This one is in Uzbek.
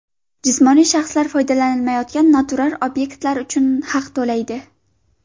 Jismoniy shaxslar foydalanilmayotgan noturar obyektlar uchun haq to‘laydi.